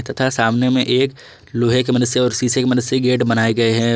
तथा सामने में एक लोहे के मनुष्य और शीशे की मदद से गेट बनाए गए हैं।